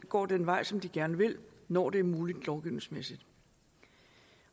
går den vej som de gerne vil når det er muligt lovgivningsmæssigt